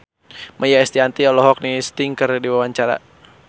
Maia Estianty olohok ningali Sting keur diwawancara